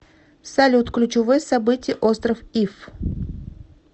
салют ключевое событие остров иф